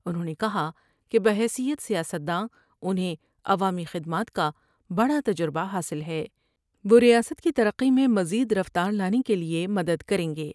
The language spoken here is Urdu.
انھوں نے کہا کہ بحیثیت سیاستداں انھیں عوامی خدمات کا بڑا تجربہ حاصل ہے وہ ریاست کی ترقی میں مزید رفتار لانے کیلئے مدد کریں گے ۔